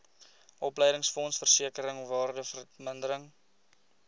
opleidingsfonds versekering waardevermindering